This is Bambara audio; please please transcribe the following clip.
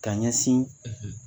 Ka ɲɛsin